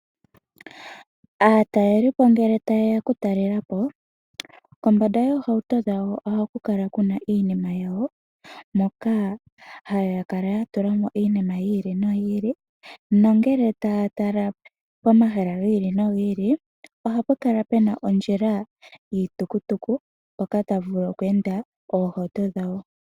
Aataleli po ngele ta ye ya okutalela po, kombanda yoohauto dhawo oha kukala kuna iinima yawo, moka ha ya kala yatula mo iinima yi ili no yi ili. Nongele taa tala pomahala gii li no gii ili oha pukala pena ondjila yiitukutuku mpoka tapu vulu okweenda oohauto dhawo.